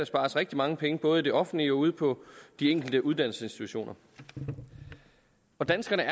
spares rigtig mange penge både i det offentlige og ude på de enkelte uddannelsesinstitutioner og danskerne